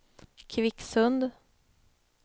Kvicksund